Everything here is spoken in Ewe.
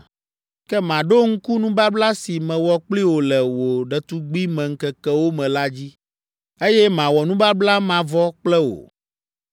Ke maɖo ŋku nubabla si mewɔ kpli wò le wò ɖetugbimeŋkekewo me la dzi, eye mawɔ nubabla mavɔ kple wò.